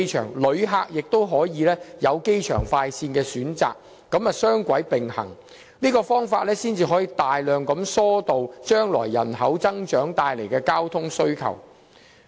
同時，旅客也可選乘機場快線，以此"雙軌並行"的方法，大量疏導將來人口增長帶來的交通需求。